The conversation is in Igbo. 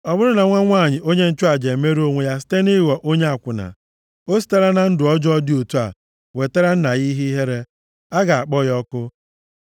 “ ‘Ọ bụrụ na nwa nwanyị onye nchụaja emerụọ onwe ya site nʼịghọ onye akwụna, o sitela na ndụ ọjọọ dị otu a wetara nna ya ihe ihere. A ga-akpọ ya ọkụ.